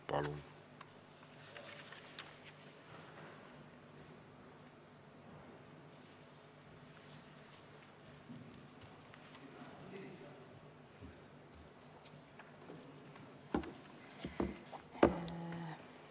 Palun!